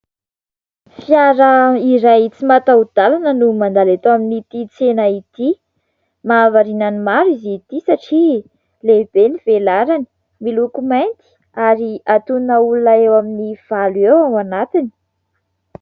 Fiara iray tsy mataho-dalana no mandalo eto amin'ity tsena ity, mahavariana ny maro izy ity satria lehibe ny velarany, miloko mainty ary antonona olona eo amin'ny valo eo ao anatiny.